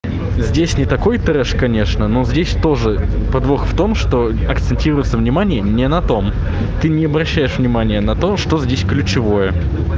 здесь не такой трэш конечно но здесь тоже подвох в том что акцентируется внимание не на том ты не обращаешь внимание на то что здесь ключевое